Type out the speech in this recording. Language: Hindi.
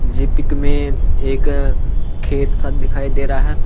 जी पिक में एक खेत सा दिखाई दे रहा है।